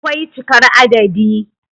akwai cikar adadi